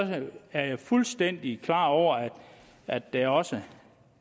er jeg fuldstændig klar over at der også er